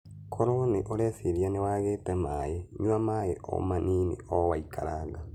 Koro nĩ ũreciria nĩ wagĩte maĩ, nyua maĩ o manini o waikaranga.